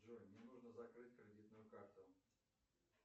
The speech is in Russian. джой мне нужно закрыть кредитную карту